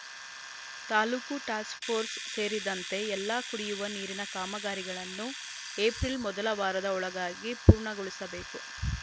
taluk task force ಸೇರಿದಂತೆ ಎಲ್ಲಾ ಕುಡಿಯುವ ನೀರಿನ ಕಾಮಗಾರಿಗಳನ್ನು ಎಪ್ರಿಲ್‌ ಮೊದಲ ವಾರದ ಒಳಗಾಗಿ ಪೂರ್ಣಗೊಳಿಸಬೇಕು